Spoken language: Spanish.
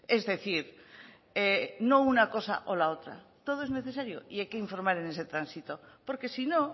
es decir no una cosa o la otra todo es necesario y hay que informar en este tránsito porque si no